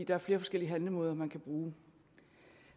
er flere forskellige handlemåder man kan bruge